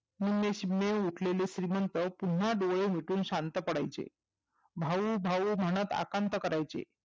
उरलेसरले उठलेले श्रीमंत पुन्हा डोळे मिटून शांत पडायचे भाऊ भाऊ म्हणत आकांत करायचे